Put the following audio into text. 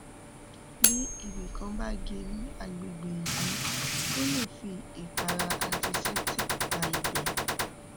bí ibì kan bá gé ní agbègbè ìdí o lè fi ìpara anticeptic pa ibẹ